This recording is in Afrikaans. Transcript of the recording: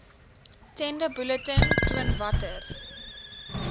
tenderbulletin toon watter